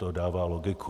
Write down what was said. To dává logiku.